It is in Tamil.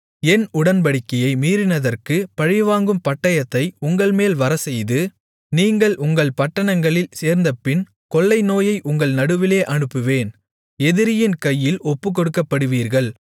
என் உடன்படிக்கையை மீறினதற்குப் பழிவாங்கும் பட்டயத்தை உங்கள்மேல் வரச்செய்து நீங்கள் உங்கள் பட்டணங்களில் சேர்ந்தபின் கொள்ளைநோயை உங்கள் நடுவிலே அனுப்புவேன் எதிரியின் கையில் ஒப்புக்கொடுக்கப்படுவீர்கள்